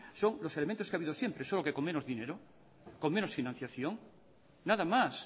son los elementos que habido siempre solo que con menos dinero con menos financiación nada más